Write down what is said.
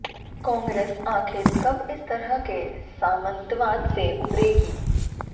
कांग्रेस आखिर कब इस तरह के सामंतवाद से उबरेगी